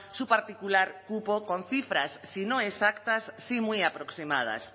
su particular cupo con cifras si no exactas sí muy aproximadas